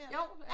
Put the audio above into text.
Jo